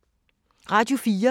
Radio 4